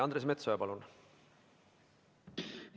Andres Metsoja, palun!